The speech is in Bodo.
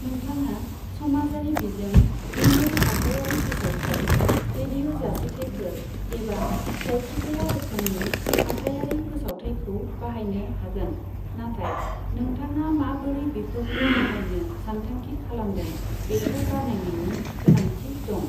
नोंथाङा समाजारि बिजों, ईमेइल हाथाइआरि फोसावथाइ, रेडिअ' जासिथाइफोर, एबा जायखिजाया रोखोमनि हाथाइआरि फोसावथाइखौ बाहायनो हागोन, नाथाय नोंथाङा माबोरै बेफोरखौ बाहायनो सानथांखि खालामदों बेखौ बारनायनायनि गोनांथि दं।